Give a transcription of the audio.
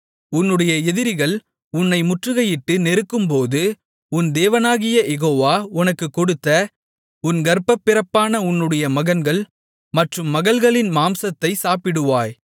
உன்னுடைய எதிரிகள் உன்னை முற்றுகையிட்டு நெருக்கும்போது உன் தேவனாகிய யெகோவா உனக்குக் கொடுத்த உன் கர்ப்பப்பிறப்பான உன்னுடைய மகன்கள் மற்றும் மகள்களின் மாம்சத்தை சாப்பிடுவாய்